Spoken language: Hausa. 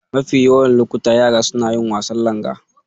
Mafi yawan lokuta, yara suna yin wasan Langa.